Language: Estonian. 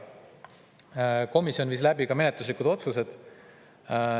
Komisjon ka menetluslikud otsused.